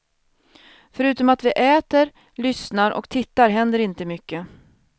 Förutom att vi äter, lyssnar och tittar händer inte mycket.